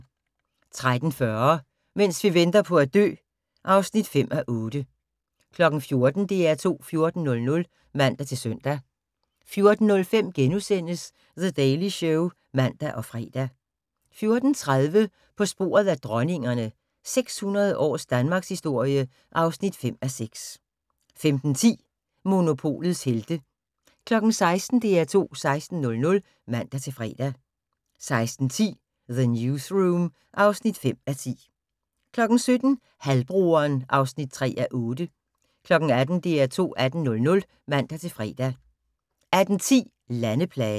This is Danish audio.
13:40: Mens vi venter på at dø (5:8) 14:00: DR2 14.00 (man-søn) 14:05: The Daily Show *(man og fre) 14:30: På sporet af dronningerne – 600 års Danmarkshistorie (5:6) 15:10: Monopolets helte 16:00: DR2 16.00 (man-fre) 16:10: The Newsroom (5:10) 17:00: Halvbroderen (3:8) 18:00: DR2 18.00 (man-fre) 18:10: Landeplagen